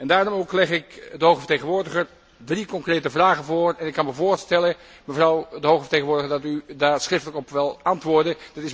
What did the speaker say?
Daarom ook leg ik de hoge vertegenwoordiger drie concrete vragen voor en ik kan mij voorstellen, mevrouw de hoge vertegenwoordiger, dat u daar schriftelijk op wilt antwoorden.